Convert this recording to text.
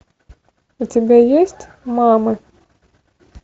у тебя есть мамы